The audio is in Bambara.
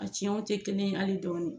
A ciyɛnw tɛ kelen ye hali dɔɔni.